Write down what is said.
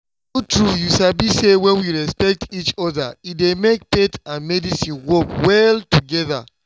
true true you sabi say when we respect each other e dey make faith and medicine work well together.